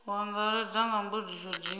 u angaredza nga mbudziso dzi